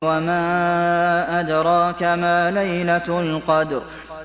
وَمَا أَدْرَاكَ مَا لَيْلَةُ الْقَدْرِ